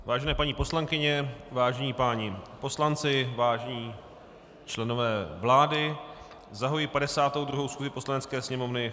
Vážené paní poslankyně, vážení páni poslanci, vážení členové vlády, zahajuji 52. schůzi Poslanecké sněmovny.